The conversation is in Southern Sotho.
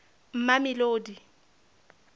mamelodi